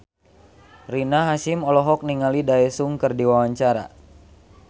Rina Hasyim olohok ningali Daesung keur diwawancara